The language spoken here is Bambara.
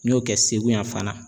N y'o kɛ Segu yan fana.